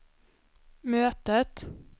mötet